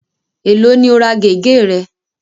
Ẹ̀ló ni o ra gẹ̀gẹ́ re?